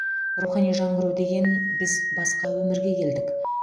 рухани жаңғыру деген біз басқа өмірге келдік